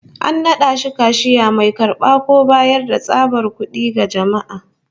An nada shi kashiya, mai karba ko bayar da tsabar kud'i ga jama'a